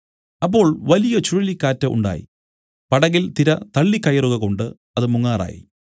അപ്പോൾ വലിയ ചുഴലിക്കാറ്റ് ഉണ്ടായി പടകിൽ തിര തള്ളിക്കയറുകകൊണ്ട് അത് മുങ്ങാറായി